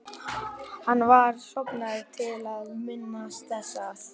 Hann var stofnaður til að minnast þess að